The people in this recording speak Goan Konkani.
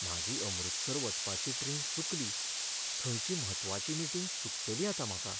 म्हाजी अमृतसर वचपाची ट्रेन चुकली, थंयची म्हत्वाची मिटींग चुकतली आतां म्हाका.